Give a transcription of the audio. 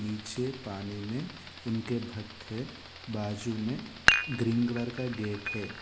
पीछे पानी में उनके भक्त है बाजू में ग्रीन कलर का गेट है।